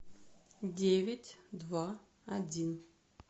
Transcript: девять два один